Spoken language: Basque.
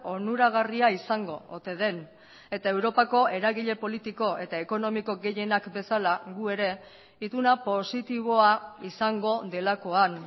onuragarria izango ote den eta europako eragile politiko eta ekonomiko gehienak bezala gu ere ituna positiboa izango delakoan